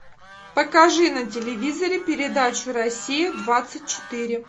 покажи на телевизоре передачу россия двадцать четыре